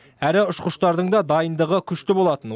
әрі ұшқыштардың да дайындығы күшті болатын